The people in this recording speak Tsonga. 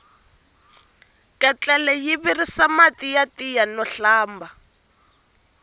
ketlele yi virisa mati ya tiya no hlamba